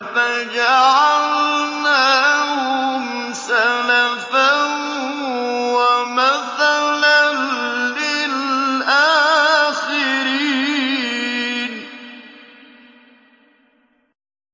فَجَعَلْنَاهُمْ سَلَفًا وَمَثَلًا لِّلْآخِرِينَ